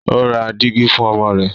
o rá Dígí fún ọmọ rẹ.